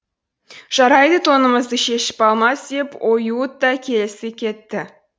жарайды тонымызды шешіп алмас деп оюут та келісе кетті